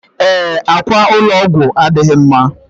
Ee, akwa ụlọ ọgwụ adịghị mma.